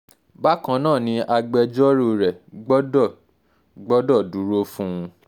bákan náà ni agbẹjọ́rò rẹ gbọ́dọ̀ gbọ́dọ̀ dúró fún un